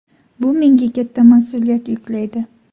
Bu menga katta mas’uliyat yuklaydi”.